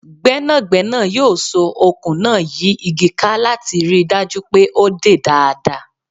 Gbẹ́nàgbẹ́nà yóò so okùn náà yí igi ká láti ríi dájú pé o dè dáadáa.